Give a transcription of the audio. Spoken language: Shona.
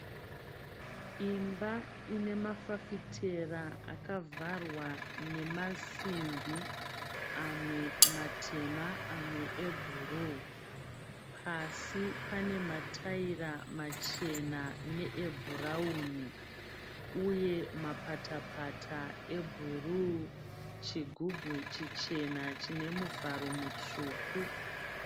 Imba ine mafasitera akavharwa nemasimbi amwe matema amwe ebhuruu pasi pane matayira machena ne ebhurauni uye mapata pata ebhuruu chigubhu chichena chine muvharo mutsvuku.